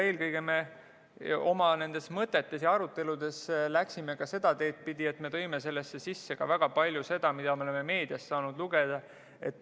Eelkõige me oma mõtetes ja aruteludes läksime seda teed pidi, et võtsime kõne alla teemasid, mida me oleme meediast lugeda saanud.